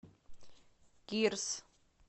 кирс